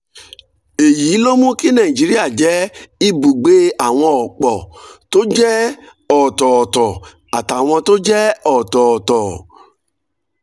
èyí ló mú kí nàìjíríà jẹ́ ibùgbé àwọn ọ̀pọ̀ tó jẹ́ ọ̀tọ̀ọ̀tọ̀ àtàwọn tó jẹ́ ọ̀tọ̀ọ̀tọ̀